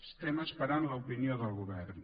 estem esperant l’opinió del govern